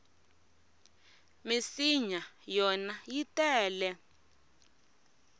minsinya yona yi tele ngopfu